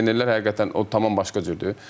Legionerlər həqiqətən o tamam başqa cürdür.